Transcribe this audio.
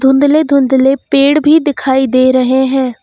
धुंधले धुंधले पेड़ भी दिखाई दे रहे हैं।